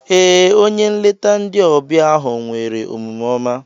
Ee, onye nlete ndi ọbịa ahụ nwere omume oma.